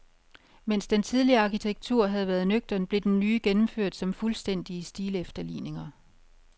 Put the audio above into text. Mens den tidligere arkitektur havde været nøgtern, blev den nye gennemført som fuldstændige stilefterligninger.